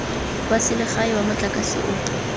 wa selegae wa motlakase o